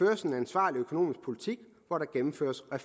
frank aaen den første der